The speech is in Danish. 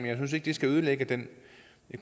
det skal ødelægge den